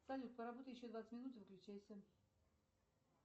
салют поработай еще двадцать минут и выключайся